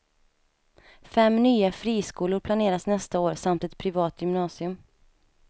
Fem nya friskolor planeras nästa år samt ett privat gymnasium.